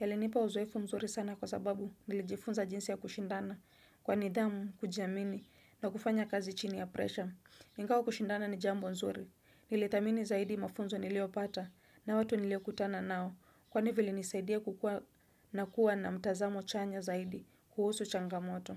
Yalinipa uzoefu mzuri sana kwa sababu nilijifunza jinsi ya kushindana kwa nidhamu, kujiamini na kufanya kazi chini ya presha. Ingawa kushindana ni jambo nzuri. Nilidhamini zaidi mafunzo niliyopata na watu niliokutana nao. Kwani vile nisaidie kukua na kuwa na mtazamo chanya zaidi kuhusu changamoto.